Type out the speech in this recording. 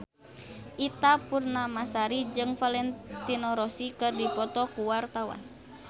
Ita Purnamasari jeung Valentino Rossi keur dipoto ku wartawan